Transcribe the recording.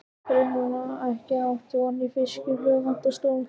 Greinilega ekki átt von á fylgifisknum, vantar stól.